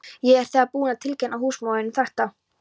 Ég er þegar búinn að tilkynna húsmóðurinni um þetta.